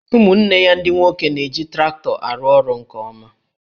Ụmụnne ya ndị nwoke na-eji traktọ arụ orụ nke ọma